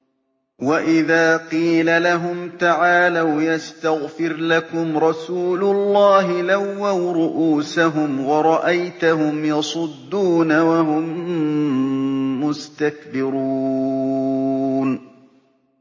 وَإِذَا قِيلَ لَهُمْ تَعَالَوْا يَسْتَغْفِرْ لَكُمْ رَسُولُ اللَّهِ لَوَّوْا رُءُوسَهُمْ وَرَأَيْتَهُمْ يَصُدُّونَ وَهُم مُّسْتَكْبِرُونَ